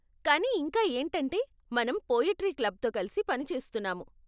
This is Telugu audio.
కానీ ఇంకా ఏంటంటే, మనం పోయెట్రీ క్లబ్తో కలిసి పనిచేస్తున్నాము.